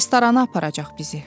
Restorana aparacaq bizi.